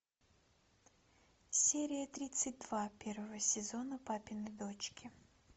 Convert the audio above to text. серия тридцать два первого сезона папины дочки